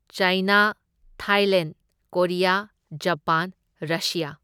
ꯆꯥꯢꯅꯥ, Thailand, Korea, Japan, Russia